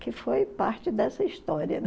Que foi parte dessa história.